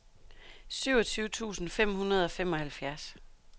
syvogtyve tusind fem hundrede og femoghalvfjerds